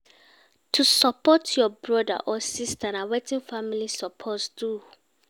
To support your brotha or sista, na wetin family suppose do.